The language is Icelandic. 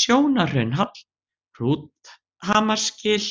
Sjónarhraunshall, Hrúthamarsgil,